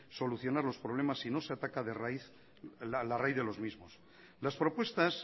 solucionar los problemas si no se ataca la raíz de los mismos las propuestas